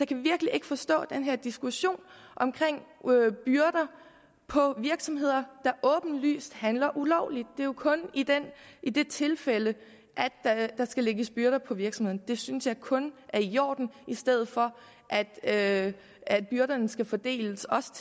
kan virkelig ikke forstå den her diskussion om byrder på virksomheder der åbenlyst handler ulovligt det er jo kun i i det tilfælde der skal lægges byrder på virksomheden det synes jeg kun er i orden i stedet for at at byrderne skal fordeles også